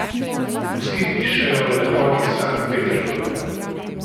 Vsi pišejo o lepoti Sankt Peterburga.